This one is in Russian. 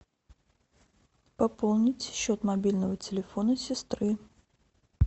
пополнить счет мобильного телефона сестры